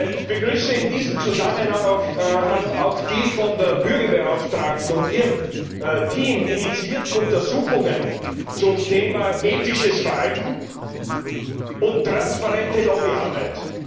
Ich begrüße in diesem Zusammenhang auch die von der Bürgerbeauftragten und ihrem Team initiierten Untersuchungen zum Thema Ethisches Verhalten und transparente Lobbyarbeit.